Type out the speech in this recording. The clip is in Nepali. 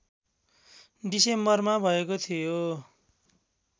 डिसेम्बरमा भएको थियो